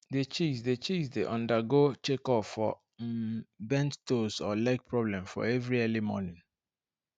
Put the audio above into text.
the chicks the chicks dey undergo check up for um bent toes or leg problem for every early morning